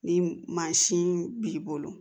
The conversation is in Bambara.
Ni mansin b'i bolo